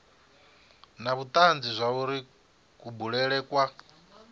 na vhutanzi zwauri kubulele kwa